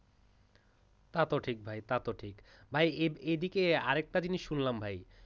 তাতো ঠিক ভাই তাতো ঠিক। এদিকে আরেকটা জিনিস শুনলাম ভাই।